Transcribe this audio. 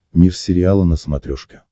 мир сериала на смотрешке